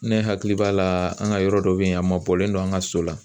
Ne hakili b'a la an ka yɔrɔ dɔ bɛ yen a ma bɔlen don an ka so la.